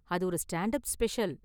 அது ஒரு stand up special.